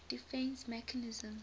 defence mechanism